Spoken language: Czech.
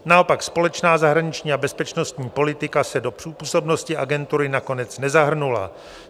Naopak společná zahraniční a bezpečnostní politika se do působnosti agentury nakonec nezahrnula.